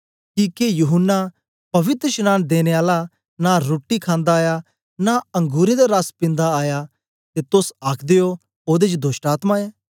किके यूहन्ना पवित्रशनांन देने आला नां रुट्टी खानदा आया नां अंगुरें दा रस पिन्दा आया ते तोस आखदे ओ ओदे च दोष्टआत्मा ऐ